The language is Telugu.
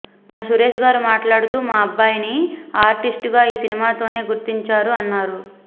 మొన్న సురేష్ గారు మాట్లాడుతూ మా అబ్బాయి ని ఆర్టిస్టుగా ఈ సినిమాతోనే గుర్తించారు అన్నారు